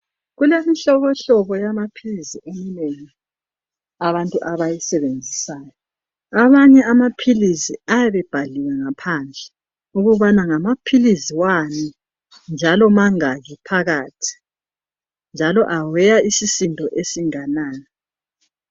Kulemihlobohlobo yamaphilisi abantu abayisebenzisayo. Abanye amaphilisi ayabe ebhaliwe ngaphandle ukubana ngamaphilisi wani njalo mangaki phakathi njalo aweya isisindo esinganani